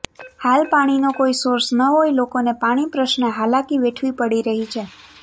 હાલ પાણીનો કોઈ સોર્સ ન હોય લોકોને પાણી પ્રશ્ને હાલાકી વેઠવી પડી રહી છે